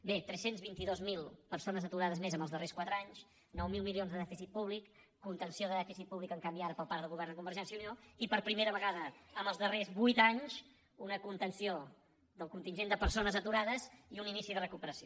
bé tres cents i vint dos mil persones aturades més en els darrers quatre anys nou mil milions de dèficit públic contenció de dèficit públic en canvi ara per part del govern de convergència i unió i per primera vegada en els darrers vuit anys una contenció del contingent de persones aturades i un inici de recuperació